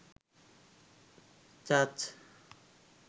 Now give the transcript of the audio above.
চাচ